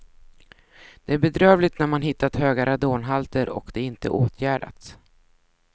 Det är bedrövligt när man hittat höga radonhalter och de inte åtgärdats.